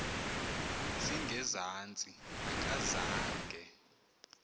zinge zantsi akazange